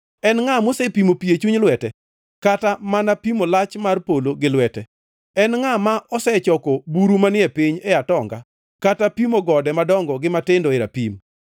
En ngʼa mosepimo pi e chuny lwete kata mana pimo lach mar polo gi lwete? En ngʼa ma osechoko buru manie piny e atonga, kata pimo gode madongo gi matindo e rapim?